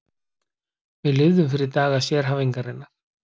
Við lifðum fyrir daga sérhæfingarinnar.